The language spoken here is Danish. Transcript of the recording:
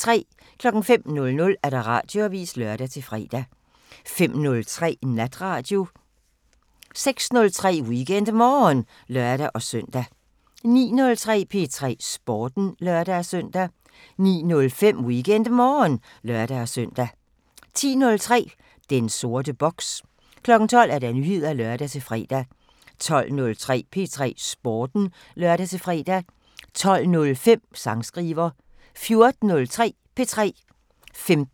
05:00: Radioavisen (lør-fre) 05:03: Natradio (lør-fre) 06:03: WeekendMorgen (lør-søn) 09:03: P3 Sporten (lør-søn) 09:05: WeekendMorgen (lør-søn) 10:03: Den sorte boks 12:00: Nyheder (lør-fre) 12:03: P3 Sporten (lør-fre) 12:05: Sangskriver 14:03: P3